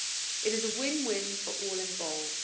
It is a win win for all involved.